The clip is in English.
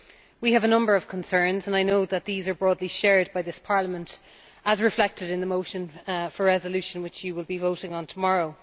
We have a number of concerns, and I know that these are broadly shared by this Parliament, as is reflected in the motion for a resolution which you will be voting on tomorrow.